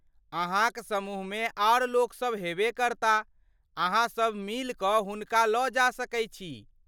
अहाँक समूहमे आर लोक सब हेबे करता, अहाँसब मिलि कऽ हुनका लऽ जा सकै छी।